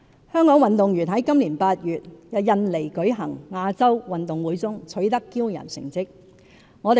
香港運動員於今年8月在印尼舉行的亞洲運動會中取得驕人成績。